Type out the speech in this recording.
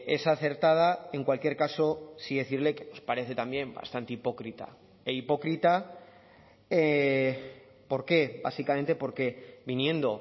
es acertada en cualquier caso sí decirle que nos parece también bastante hipócrita e hipócrita por qué básicamente porque viniendo